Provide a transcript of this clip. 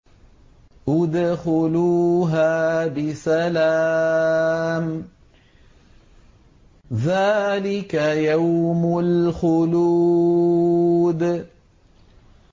ادْخُلُوهَا بِسَلَامٍ ۖ ذَٰلِكَ يَوْمُ الْخُلُودِ